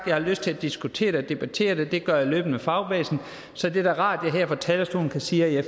jeg har lyst til at diskutere det og debattere det og det gør jeg løbende med fagbevægelsen så det er da rart at jeg her fra talerstolen kan sige at jeg